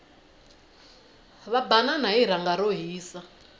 va banana hi rhanga ro hisa